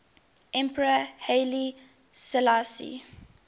emperor haile selassie